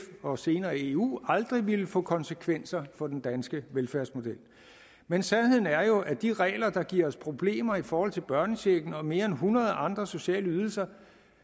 og senere eu aldrig ville få konsekvenser for den danske velfærdsmodel men sandheden er jo at de regler der giver os problemer i forhold til børnechecken og mere end hundrede andre sociale ydelser